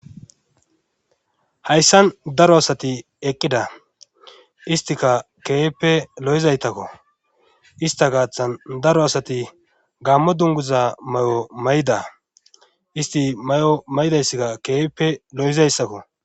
Hayssan daro asati eqqida istika keeppe lo7izaytakko ista gaaththan daro asati gammo dunguza may7o may7da isti may7o maydayssikka keeppe lo7izayssakko